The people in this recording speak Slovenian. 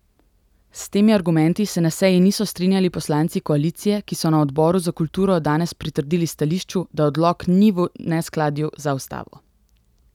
S temi argumenti se na seji niso strinjali poslanci koalicije, ki so na odboru za kulturo danes pritrdili stališču, da odlok ni v neskladju za ustavo.